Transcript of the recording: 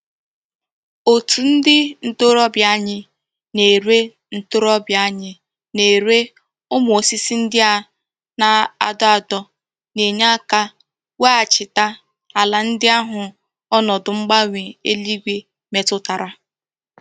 Otu ndi ntorobia anyi na-ere ntorobia anyi na-ere umu osisi ndi a na-ado ado na-enye aka weghachita ala ndi ahu onodu mgbanwe eluigwe metutara.